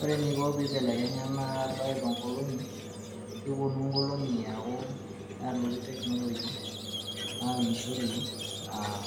Ore eneiko peibelekenya ena bae toonkolong'i, kepuonu nkolong'i aaku, kelotu technology naunishoreki aa